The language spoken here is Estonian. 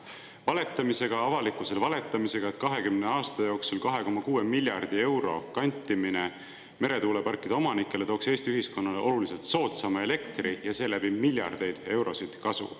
Valetamisega avalikkusele, valetamisega, et 20 aasta jooksul 2,6 miljardi euro kantimine meretuuleparkide omanikele tooks Eesti ühiskonnale oluliselt soodsama elektri ja seeläbi miljardeid eurosid kasu.